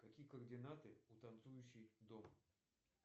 какие координаты у танцующий дом